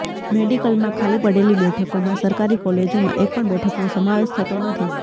મેડિકલમાં ખાલી પડેલી બેઠકોમાં સરકારી કોલેજોમાં એકપણ બેઠકનો સમાવેશ થતો નથી